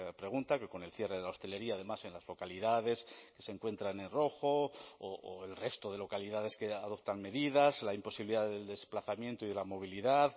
pregunta que con el cierre de la hostelería además en las localidades que se encuentran en rojo o el resto de localidades que adoptan medidas la imposibilidad del desplazamiento y de la movilidad